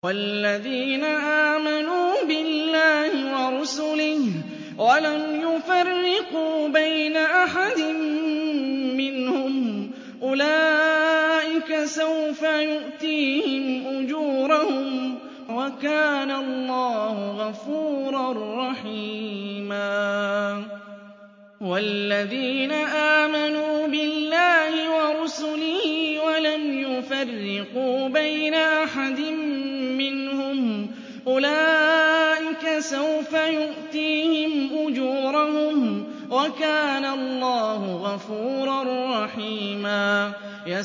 وَالَّذِينَ آمَنُوا بِاللَّهِ وَرُسُلِهِ وَلَمْ يُفَرِّقُوا بَيْنَ أَحَدٍ مِّنْهُمْ أُولَٰئِكَ سَوْفَ يُؤْتِيهِمْ أُجُورَهُمْ ۗ وَكَانَ اللَّهُ غَفُورًا رَّحِيمًا